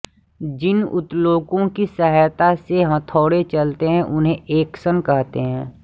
जिन उत्तोलकों की सहायता से ये हथौड़े चलते हैं उन्हें ऐक्शन कहते हैं